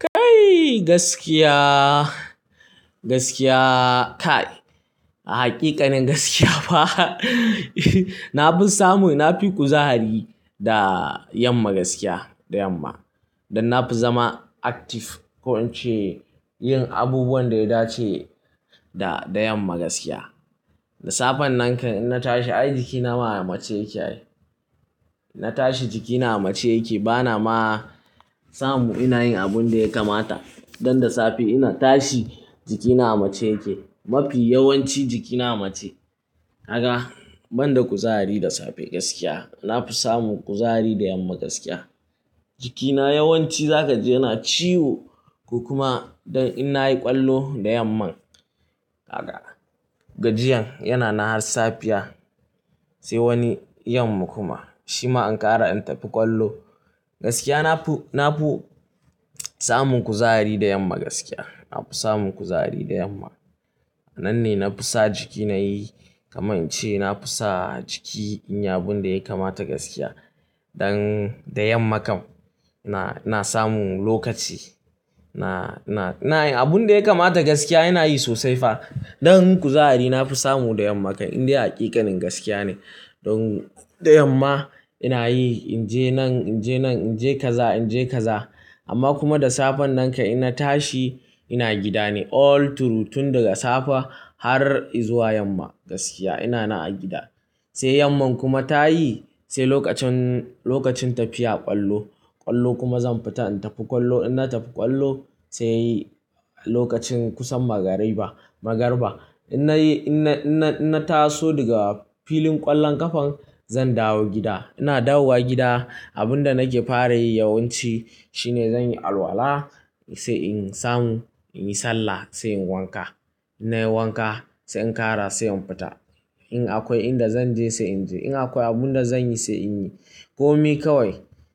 Kai gaskiya, gaskiya kai haƙiƙanin gaskiya fa. Na fi samu, na fi kuzari da yamma gaskiya da yamma. Dan na fi zama active, ko in ce yin abubuwan da ya dace da, da yamma gaskiya. Da safen nan kan in na tashi ai jikina amace yake. In na tashi jikina mace yake bana ma samu ina yin abun da ya kamata. Dan da safe ina tashi jikina mace yake. Mafi yawanci jikina mace. Kaga, ban da kuzari da safe gaskiya. Na fi samun kuzari da yamma gaskiya. Jikina yawanci zaka ji yana ciwo ko kuma dan in na yi ƙwallo da yamma. Kaga, gajiyan yana na har safiya, sai wani yamma kuma shima in ƙara in tafi ƙwallo. Gaskiya na fi, na fi samun kuzari da yamma gaskiya. Na fi samun kuzari da yamma. Nan ne na fi sa jikina yi kamar in ce na fi sa jiki in yi abun da ya kamata gaskiya. Dan da yammakan ina, ina samu lokaci. Na, na, na yin abun da ya kamata gaskiya ina yi sosai fa. Dan kuzari na fi samu da yammakan inda hakikanin gaskiya ne. Don da yamma ina yi, in je nan, in je nan, in je kaza, in je kaza. Amma kuma da safen nan kan in na tashi ina gida ne all through tun daga safe har izuwa yamma gaskiya. Ina na a gida. Sai yamma kuma ta yi, sai lokacin, lokacin tafiya ƙwallo. Ƙwallo kuma zan fita in tafi ƙwallo. In na tafi ƙwallo sai lokacin kusan magariba, magariba. In nayi, in na, in na, in na taso daga filin ƙwallon ƙafa zan dawo gida. Ina dawowa gida abun da nake fara yi yawanci shine zan yi alwala sai in samu in yi sallah sai in wanka. In nayi wanka sai in kara sai in fita. In akwai inda zan je sai in je. In akwai abun da zan yi sai in yi. Komi kawai